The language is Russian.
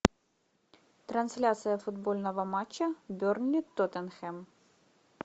трансляция футбольного матча бернли тоттенхэм